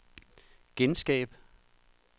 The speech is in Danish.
genskab